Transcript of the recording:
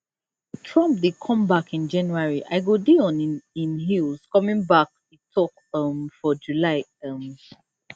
trump dey come back in january i go dey on im heels coming back e tok um for july um